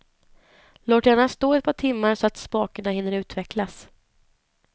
Låt gärna stå ett par timmar så att smakerna hinner utvecklas.